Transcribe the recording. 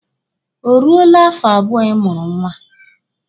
O ruole afọ abụọ ị mụrụ nwa?